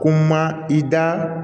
Ko ma i da